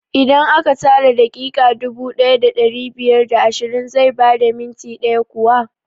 Idan aka tara daƙiƙa dubu ɗaya da ɗari biyar da ashirin zai bada minti ɗaya kuwa?